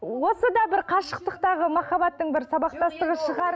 осы да бір қашықтықтағы махаббаттың бір сабақтастығы шығар